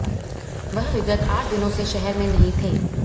वह विगत आठ दिनों से शहर में नहीं थे